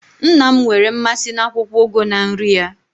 Nna'm nwere mmasị na akwukwo ugu na nri ya